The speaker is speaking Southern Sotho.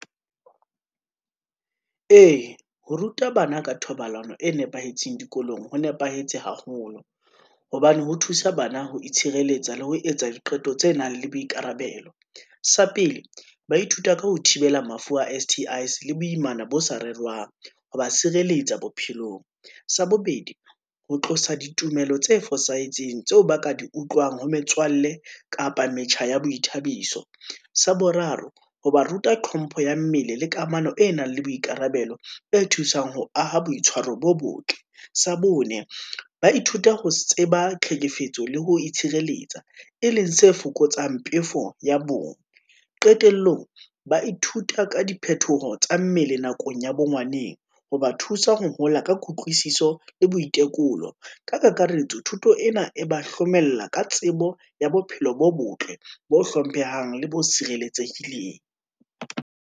Ee, ho ruta bana ka thobalano e nepahetseng dikolong ho nepahetse haholo, hobane ho thusa bana ho itshireletsa le ho etsa diqeto tse nang le boikarabelo. Sa pele, ba ithuta ka ho thibela mafu a S_T_I, le boimana bo sa rerwang ho ba sireletsa bophelong. Sa bobedi, ho tlosa ditumelo tse fosahetseng tseo ba ka di utlwang ho metswalle kapa metjha ya boithabiso. Sa boraro, ho ba ruta tlhompho ya mmele, le kamano e nang le boikarabelo e thusang ho aha boitshwaro bo botle. Sa bone. ba ithuta ho tseba tlhekefetso le ho itshireletsa, e leng se fokotsang pefo ya bong. Qetellong ba ithuta ka diphethoho tsa mmele nakong ya bo ngwaneng, ho ba thusa ho hola ka kutlwisiso le boitekolo. Ka kakaretso, thuto ena e ba hlomella ka tsebo ya bophelo bo botle, bo hlomphehang le bo sireletsehileng.